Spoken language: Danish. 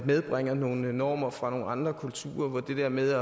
medbringer nogle normer fra nogle andre kulturer hvor det der med